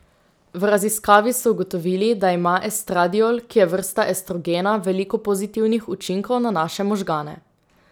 V raziskavi so ugotovili, da ima estradiol, ki je vrsta estrogena, veliko pozitivnih učinkov na naše možgane.